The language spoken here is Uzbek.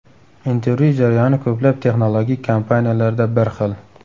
Intervyu jarayoni ko‘plab texnologik kompaniyalarda bir xil.